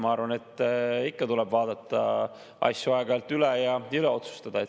Ma arvan, et ikka tuleb vaadata asju aeg-ajalt üle ja uuesti otsustada.